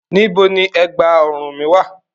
Níbo ni ẹ̀gbá-ọrùn mi wà?